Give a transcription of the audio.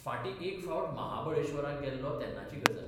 फार्टी एक फावट महाबळेश्वराक गेल्लों तेन्नाची गजाल.